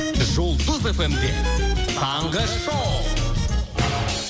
жұлдыз эф эм де таңғы шоу